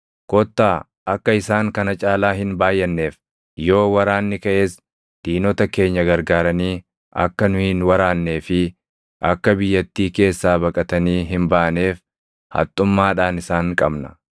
Kottaa akka isaan kana caalaa hin baayʼanneef, yoo waraanni kaʼes diinota keenya gargaaranii akka nu hin waraannee fi akka biyyattii keessaa baqatanii hin baaneef haxxummaadhaan isaan qabna.”